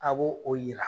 A b'o o yira